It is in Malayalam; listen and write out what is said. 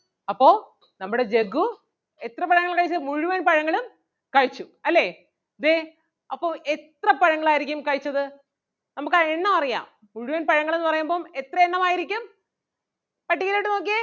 അപ്പൊ നമ്മുടെ ജഗ്ഗു എത്ര പഴങ്ങൾ കഴിച്ചു മുഴുവൻ പഴങ്ങളും കഴിച്ചു അല്ലേ ദേ അപ്പൊ എത്ര പഴങ്ങൾ ആരിക്കും കഴിച്ചത് നമുക്ക് ആ എണ്ണം അറിയാം മുഴുവൻ പഴങ്ങളെന്ന് പറയുമ്പം എത്രയെണ്ണമായിരിക്കും പട്ടികയിലോട്ട് നോക്കിയേ.